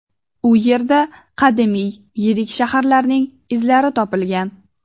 U yerda qadimiy yirik shaharning izlari topilgan.